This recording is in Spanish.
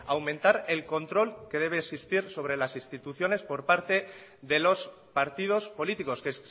aumentar el control que debe existir sobre las instituciones por parte de los partidos políticos que